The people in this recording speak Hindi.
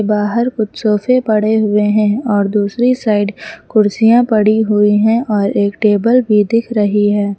बाहर कुछ सोफे पड़े हुए हैं और दूसरी साइड कुर्सियां पड़ी हुई है और एक टेबल भी दिख रही है।